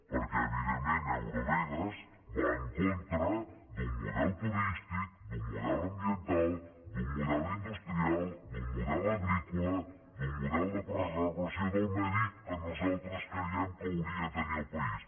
perquè evidentment eurovegas va en contra d’un model turístic d’un model ambiental d’un model industrial d’un model agrícola d’un model de preservació del medi que nosaltres creiem que hauria de tenir el país